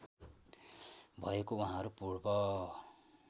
भएको उहाँहरू पूर्व